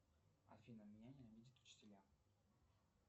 афина меня ненавидят учителя